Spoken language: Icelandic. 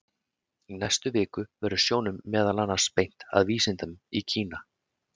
Í næstu viku verður sjónum meðal annars beint að vísindum í Kína.